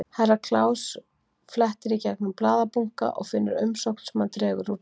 Herra Kláus flettir í gegnum blaðabunka og finnur umsókn sem hann dregur úr bunkanum.